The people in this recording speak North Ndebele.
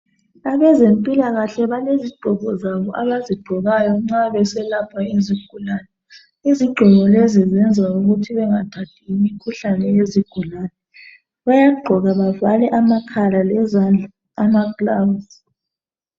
Abezemphilakahle balezigqoko zabo abazigqokayo nxa beselapha izigulani. izigxungu lezi bayenza ukuthi bangathathi imikhuhlane. yezigulani. Bayagqoka bavale amakhala ngeza lamagilavusi.